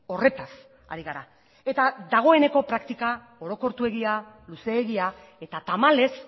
horretaz ari gara eta dagoeneko praktika orokortuegia luzeegia eta tamalez